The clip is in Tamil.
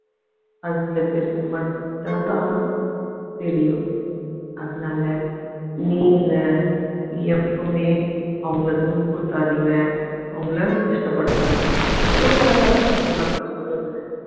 அது சில பேருக்கு மட்டும்தான் தெரியும் அதனால நீங்க எப்பவுமே அவங்களை துன்புறுத்தாதீங்க அவங்களை கஷ்டப்படுத்தாதீங்க எவ்வளவு அழகா இருக்கு தெரியுமாங்க அந்த உறவு